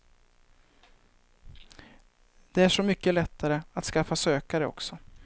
Det är så mycket lättare att skaffa sökare också.